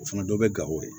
O fana dɔ bɛ gawo yen